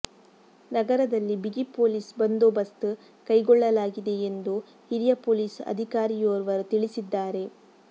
ನಗರದಲ್ಲಿ ಬಿಗಿ ಪೊಲೀಸ್ ಬಂದೋಬಸ್ತ್ ಕೈಗೊಳ್ಳಲಾಗಿದೆ ಎಂದು ಹಿರಿಯ ಪೊಲೀಸ್ ಅಧಿಕಾರಿಯೋರ್ವರು ತಿಳಿಸಿದ್ದಾರೆ